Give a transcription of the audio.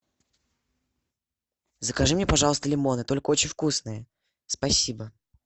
закажи мне пожалуйста лимоны только очень вкусные спасибо